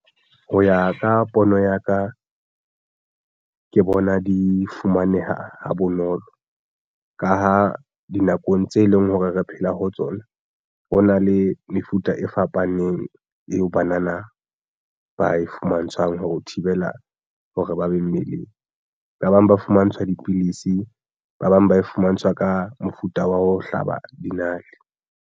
Ho ya ka pono ya ka ke bona di fumaneha ha bonolo ka ho dinakong tse leng hore re phela ho tsona ho na le mefuta e fapaneng neng eo banana ba e fumantshwang ho thibela hore ba be mmeleng. Ba bang ba fumantshwa ka dipidisi, ba bang ba e fumantshwa ka mofuta wa ho hlaba dinale.